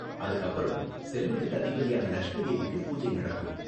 அதுக்கு அப்பறம் செல்வத்துக்கு அதிபதியான லக்ஷ்மி தேவிக்கு பூஜை நடக்கும்.